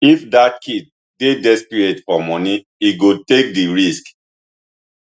if dat kid dey desperate for money e go take di risk